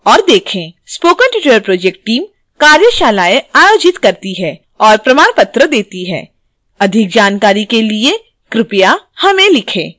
spoken tutorial project team कार्यशालाएं आयोजित करती है और प्रमाण पत्र देती है